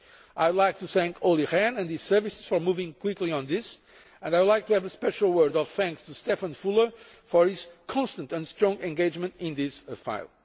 I would like to thank Olli Rehn and his services for moving quickly on this, and I would like to add a special word of thanks to Štefan Füle for his constant and strong engagement in this file.